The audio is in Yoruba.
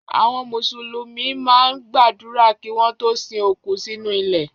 Àwọn Mùsùlùmí máa ń gbàdúrà kí wọ́n tó sin òkú sínú ilẹ̀.